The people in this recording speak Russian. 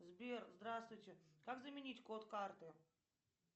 сбер здравствуйте как заменить код карты